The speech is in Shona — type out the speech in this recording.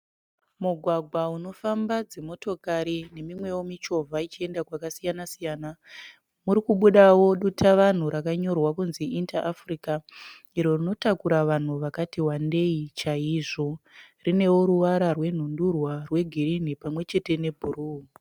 Mugwagwa unofamba dzimotokari nemimwewo michovha ichienda kwakasiya siyana. Muri kubudawo dutavanhu rakanyorwa kuti Inter Africa iro rinotakura vanhu vakati wandei chaizvo. Rinewo ruvara rwenhundurwa rwegirini pamwe chete nebhuruu.